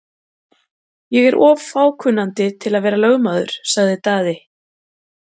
Ég er of fákunnandi til að vera lögmaður, sagði Daði.